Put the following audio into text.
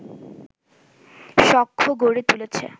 সখ্য গড়ে তুলেছে